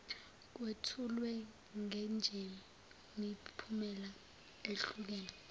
kwethulwe njengemiphumela ehlukene